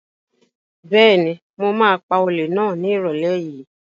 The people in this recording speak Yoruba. Bẹ́ẹ̀ni, mo ma pa olè náà ní ìrọ̀lẹ́ yìí